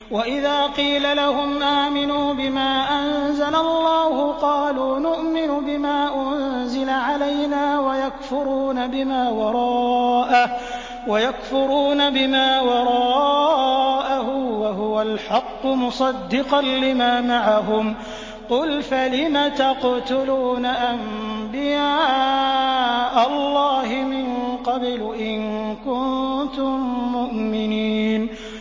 وَإِذَا قِيلَ لَهُمْ آمِنُوا بِمَا أَنزَلَ اللَّهُ قَالُوا نُؤْمِنُ بِمَا أُنزِلَ عَلَيْنَا وَيَكْفُرُونَ بِمَا وَرَاءَهُ وَهُوَ الْحَقُّ مُصَدِّقًا لِّمَا مَعَهُمْ ۗ قُلْ فَلِمَ تَقْتُلُونَ أَنبِيَاءَ اللَّهِ مِن قَبْلُ إِن كُنتُم مُّؤْمِنِينَ